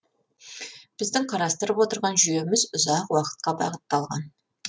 біздің қарастырып отырған жүйеміз ұзақ уақытқа бағытталған